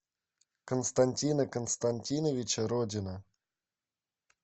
константина константиновича родина